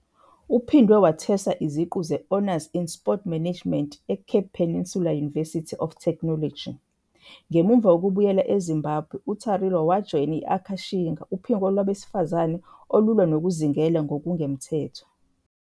Uphinde wathweswa iziqu zeHonours in Sport Management eCape Peninsula University of Technology. Ngemuva kokubuyela eZimbabwe, uTariro wajoyina i- Akashinga, uphiko lwabesifazane olwa nokulwa nokuzingela ngokungemthetho.